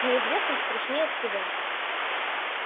неизвестность страшнее всего